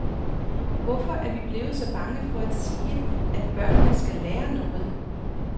Hvorfor er vi blevet så bange for at sige, at børnene skal lære noget.